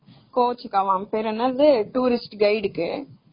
எல்லாம் அது பேர் என்ன tourist guide கு.